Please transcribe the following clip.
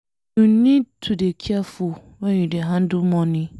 You need to dey careful wen you dey handle money.